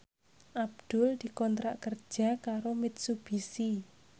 Abdul dikontrak kerja karo Mitsubishi